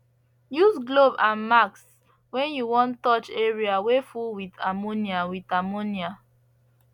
use glove and masks when you want touch area wey full with ammonia with ammonia